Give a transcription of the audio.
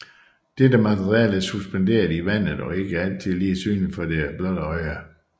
Dette materiale er suspenderet i vandet og ikke altid lige synligt for det blotte øje